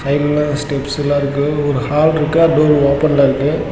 உள்ள ஸ்டெப்ஸு லா இருக்கு ஒரு ஹால் ருக்கு அது டோர் ஓபன் ல இருக்கு.